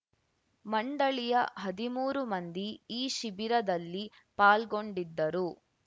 ಮಂಡಳಿಯ ಹದಿಮೂರು ಮಂದಿ ಈ ಶಿಬಿರದಲ್ಲಿ ಪಾಲ್ಗೊಂಡಿದ್ದರು